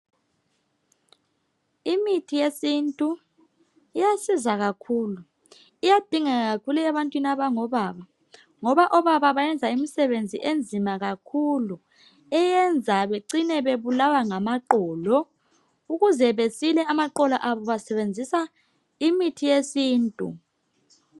Imithi yesintu iyasiza kakhulu, iyadingeka kakhulu ebantwini abango baba. Ngoba obaba bayenza imsebenzi enzima kakhulu eyenza becine bebulawa ngamaqolo. Ukuze basile amaqolo abo basebenzisa imithi yesintu.